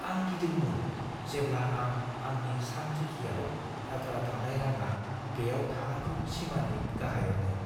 आं गिदोंमोन जेब्ला आं आंनि सानरिखिआव आद्रा थानाय रांआ बेयाव थानांगौ सिमानि गाहायावमोन।